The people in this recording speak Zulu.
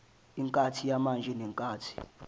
inkathi yamanje nenkathi